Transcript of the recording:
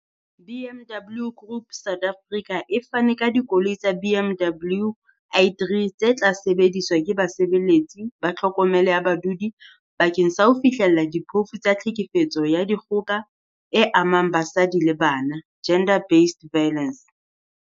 BMW Group South Africa e fane ka dikoloi tsa BMW i3 tse tla sebediswa ke basebeletsi ba tlhokomelo ya badudi bakeng sa ho fihlella diphofu tsa tlhekefetso ya dikgoka e amang basadi le bana gender based violence.